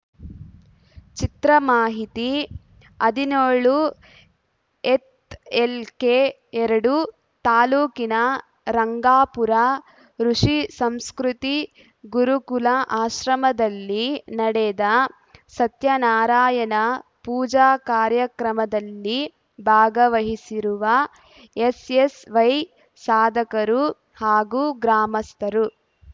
ಚಿತ್ರಮಾಹಿತಿ ಹದಿನ್ಯೋಳುಹೆತ್‌ಎಲ್‌ಕೆ ಎರಡು ತಾಲೂಕಿನ ರಂಗಾಪುರ ಋುಷಿ ಸಂಸ್ಕೃತಿ ಗುರುಕುಲ ಆಶ್ರಮದಲ್ಲಿ ನಡೆದ ಸತ್ಯ ನಾರಾಯಣ ಪೂಜಾ ಕಾರ್ಯಕ್ರಮದಲ್ಲಿ ಭಾಗವಹಿಸಿರುವ ಎಸ್‌ಎಸ್‌ವೈ ಸಾಧಕರು ಹಾಗೂ ಗ್ರಾಮಸ್ಥರು